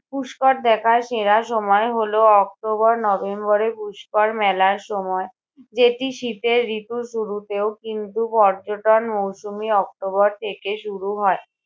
পুষ্কর দেখার সেরা সময় হলো অক্টোবর-নভেম্বর এ পুষ্কর মেলার সময়। যেটি শীতের ঋতুর শুরুতেও, কিন্তু পর্যটন মৌসমই অক্টোবর থেকে শুরু হয়,